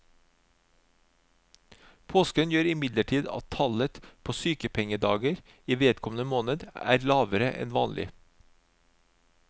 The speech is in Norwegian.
Påsken gjør imidlertid at tallet på sykepengedager i vedkommende måned er lavere enn vanlig.